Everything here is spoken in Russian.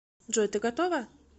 джой ты готова